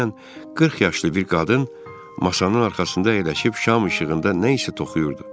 Təxminən 40 yaşlı bir qadın masanın arxasında əyləşib şam işığında nə isə toxuyurdu.